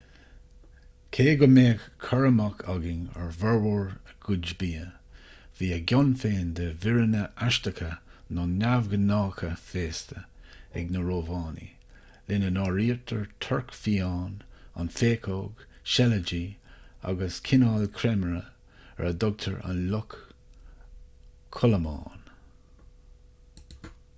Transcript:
cé go mbeadh cur amach againn ar fhormhór a gcuid bia bhí a gcion féin de mhíreanna aisteacha nó neamhghnácha féasta ag na rómhánaigh lena n-áirítear torc fiáin an phéacóg seilidí agus cineál creimire ar a dtugtar an luch chodlamáin